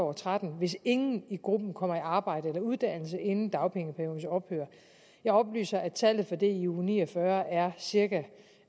og tretten hvis ingen i gruppen kommer i arbejde eller uddannelse inden dagpengeperiodens ophør jeg oplyser at tallet for det i uge ni og fyrre er cirka